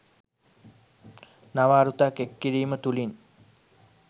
නව අරුතක් එක් කිරීම තුළින්